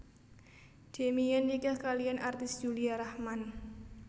Demian nikah kaliyan artis Yulia Raachman